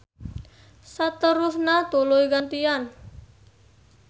Saterusna tuluy gantian.